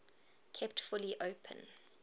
kept fully open